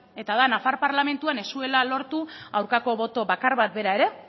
eta da nafar parlamentuan ez zuela lortu aurkako boto bakar bat bera ere